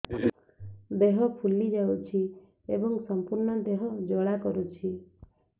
ଦେହ ଫୁଲି ଯାଉଛି ଏବଂ ସମ୍ପୂର୍ଣ୍ଣ ଦେହ ଜ୍ୱାଳା କରୁଛି